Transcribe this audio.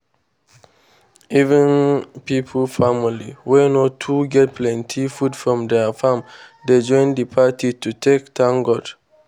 even pipo family wey no too get plenty food from their farm dey join the party to take thank god.